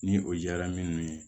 Ni o jara minnu ye